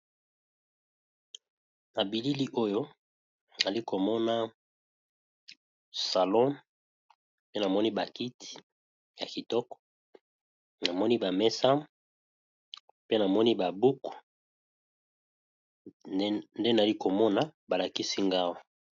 Na bilili oyo, nazali komona salon pe namoni ba kiti ya kitoko namoni ba mesa pe namoni ba buku nde nazali komona ba lakisi nga Awa.